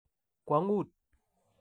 kwongut.